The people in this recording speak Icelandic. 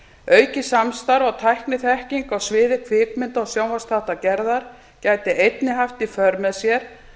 aukið samstarf og tækniþekking á sviði kvikmynda og sjónvarpsþáttagerðar gæti einnig haft í för með sér